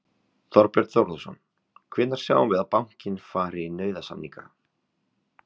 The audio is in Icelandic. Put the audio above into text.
Þorbjörn Þórðarson: Hvenær sjáum við að bankinn fari í nauðasamninga?